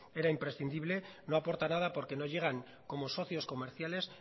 era imprescindible no aporta nada porque no llegan como socios comerciales